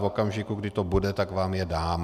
V okamžiku, kdy to bude, tak vám je dám.